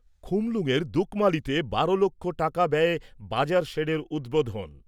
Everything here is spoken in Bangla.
খুমলুঙয়ের দুকমালিতে বারো লক্ষ টাকা ব্যয়ে বাজার শেডের উদ্বোধন।